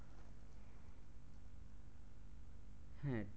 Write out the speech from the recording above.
হ্যাঁ